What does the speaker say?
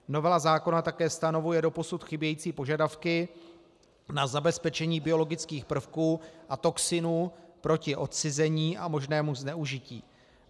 Novela zákona také stanovuje doposud chybějící požadavky na zabezpečení biologických prvků a toxinů proti odcizení a možnému zneužití.